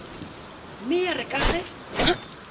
mme ya re ka ge